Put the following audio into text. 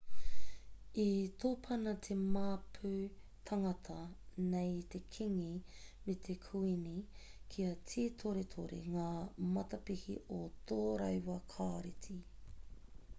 i tōpana te māpu tāngata nei i te kīngi me te kuīni kia tītoretore ngā matapihi o tō rāua kāreti